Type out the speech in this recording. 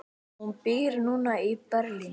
Hún býr núna í Berlín.